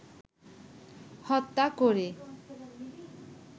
হত্যা করে